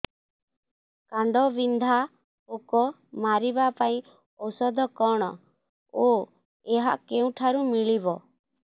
କାଣ୍ଡବିନ୍ଧା ପୋକ ମାରିବା ପାଇଁ ଔଷଧ କଣ ଓ ଏହା କେଉଁଠାରୁ ମିଳିବ